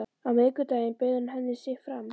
Á miðvikudaginn bauð hann henni sig fram.